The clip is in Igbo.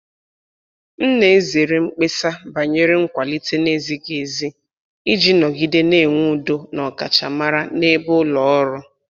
M na-ezere mkpesa banyere nkwalite na-ezighị ezi iji nọgide na-enwe udo na ọkachamara na-ebe ulo ọrụ.